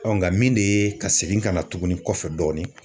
nka min de ye ka segin ka na tuguni kɔfɛ dɔɔnin